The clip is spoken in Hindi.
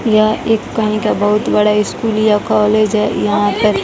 यह एक कनी का बहुत बड़ा स्कूल या कालेज है यहां पर--